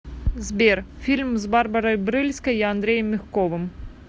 сбер фильм с барбарой брыльской и андреем мягковым